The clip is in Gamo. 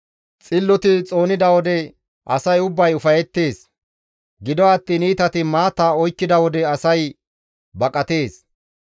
Xilloti xoonida wode asay ubbay ufayettees; gido attiin iitati maata oykkida wode asay baqatees.